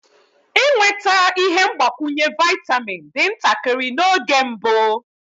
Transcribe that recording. Ịnweta ihe mgbakwunye vaịtamin dị ntakịrị n'oge mbụ.